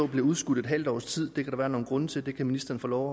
bliver udskudt et halvt års tid det kan der være nogle grunde til det kan ministeren få lov